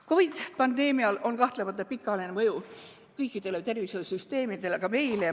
COVID‑pandeemial on kahtlemata pikaajaline mõju kõikidele tervishoiusüsteemidele, ka meie omale.